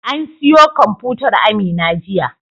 An siyo kwamfutar Amina jiya.